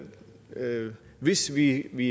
hvis vi vi